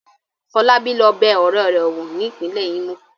Fọlábí lọ bẹ ọ̀rẹ́ rẹ̀ wò ní ìpínlẹ̀ Imo.